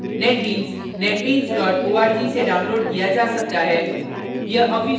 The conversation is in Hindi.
netbeans netbeans org से downloaded किया जा सकता है